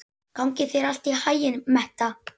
Gangi þér allt í haginn, Metta.